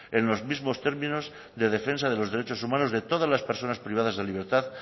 en los mismos términos de defensa de los derechos humanos de todas las personas privadas de libertad